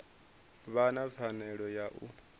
vha na pfanelo ya u